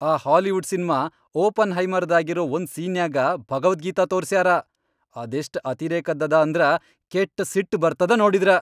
ಆ Hollywood cinema "ಒಪೆನ್ಹೈಮರ್"ದಾಗಿರೋ ಒಂದ್ ಸೀನ್ನ್ಯಾಗ ಭಗವದ್ಗೀತಾ ತೋರ್ಸ್ಯಾರ.. ಅದೆಷ್ಟ್ ಅತಿರೇಕದ್ದದ ಅಂದ್ರ ಕೆಟ್ಟ ಸಿಟ್ ಬರ್ತದ ನೋಡಿದ್ರ.